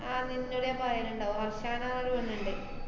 ആഹ് നിന്നോട് ഞാന്‍ പറയ്ന്ന്ണ്ടാവ് ഹര്‍ഷാന്നറഞ്ഞൊരു പെണ്ണ്ണ്ട്.